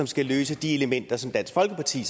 skal løse de elementer som dansk folkeparti